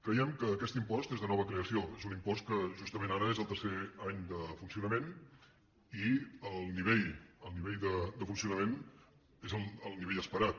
creiem que aquest impost és de nova creació és un impost que justament ara és el tercer any de funcionament i el nivell de funcionament és el nivell esperat